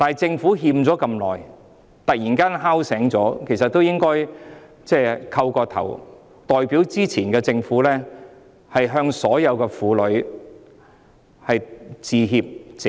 政府拖欠了這麼久，突然被敲醒了，其實應該代表前任政府向所有婦女鞠躬致歉、謝罪。